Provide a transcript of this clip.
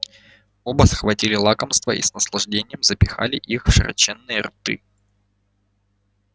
оба схватили лакомства и с наслаждением запихали их в широченные рты